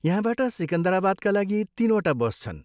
यहाँबाट सिकन्दराबादका लागि तिनवटा बस छन्।